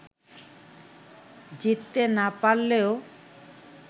জিততে না পারলেও